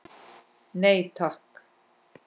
Nei takk.